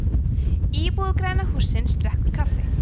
íbúi græna hússins drekkur kaffi